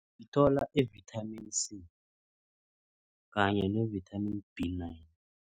Sithola i-vithamini C kanye ne-vithamini B nine.